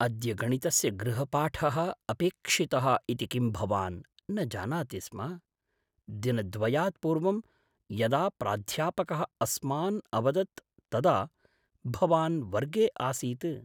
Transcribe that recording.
अद्य गणितस्य गृहपाठः अपेक्षितः इति किं भवान् न जानाति स्म? दिनद्वयात् पूर्वं यदा प्राध्यापकः अस्मान् अवदत् तदा भवान् वर्गे आसीत्।